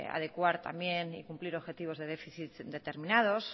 adecuar también y cumplir objetivos de déficit determinados